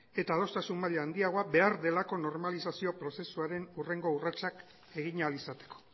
eta adostasun maila handiago behar delako normalizazio prozesuaren hurrengo urratsak egin ahal izateko